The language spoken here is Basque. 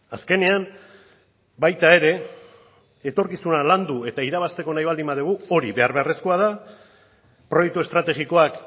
azkenean baita ere etorkizuna landu eta irabazteko nahi baldin badugu hori behar beharrezkoa da proiektu estrategikoak